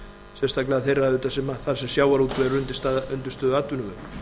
sérstaklega þeirra auðvitað þar sem sjávarútvegur er undirstöðuatvinnuvegur